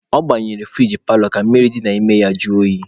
Ọ gbanyere furigi paalọ ka mmiri dị n'ime ya jụọ oyi.